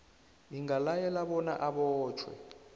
ingalayela bona abotjhwe